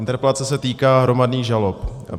Interpelace se týká hromadných žalob.